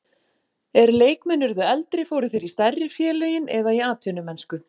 Er leikmenn urðu eldri fóru þeir í stærri félögin eða í atvinnumennsku.